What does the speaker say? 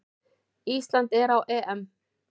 Ísland er á EM!